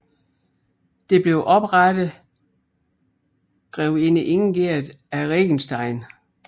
Det blev oprettede grevinde Ingerd af Regenstein